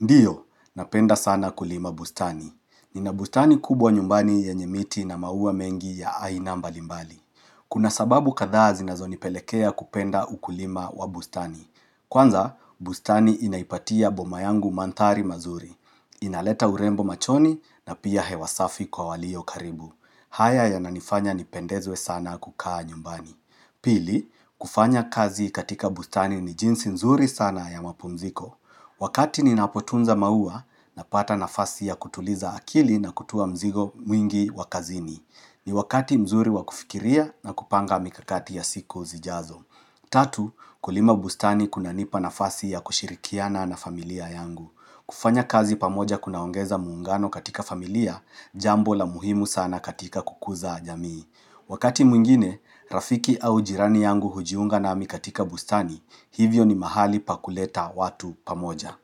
Ndiyo, napenda sana kulima bustani. Nina bustani kubwa nyumbani yenye miti na maua mengi ya aina mbali mbali. Kuna sababu kadhaa zinazonipelekea kupenda ukulima wa bustani. Kwanza, bustani inaipatia boma yangu mandhari mazuri. Inaleta urembo machoni na pia hewa safi kwa walio karibu. Haya yananifanya nipendezwe sana kukaa nyumbani. Pili, kufanya kazi katika bustani ni jinsi mzuri sana ya mapumziko. Wakati ninapotunza maua, napata nafasi ya kutuliza akili na kutua mzigo mwingi wa kazini. Ni wakati mzuri wa kufikiria na kupanga mikakati ya siku zijazo. Tatu, kulima bustani kunanipa nafasi ya kushirikiana na familia yangu. Kufanya kazi pamoja kunaongeza muungano katika familia, jambo la muhimu sana katika kukuza jamii. Wakati mwingine, Rafiki au jirani yangu hujiunga nami katika bustani, hivyo ni mahali pa kuleta watu pamoja.